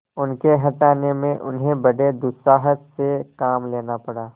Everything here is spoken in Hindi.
उनके हटाने में उन्हें बड़े दुस्साहस से काम लेना पड़ा